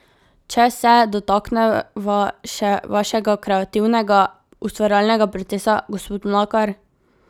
Če se dotakneva še vašega kreativnega, ustvarjalnega procesa, gospod Mlakar ...